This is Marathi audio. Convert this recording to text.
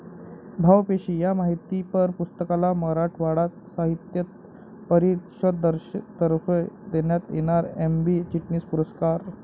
भावपेशी' या माहितीपर पुस्तकाला मराठवाडा साहित्य परिषदेतर्फे देण्यात येणारा एम.बी. चिटणीस पुरस्कार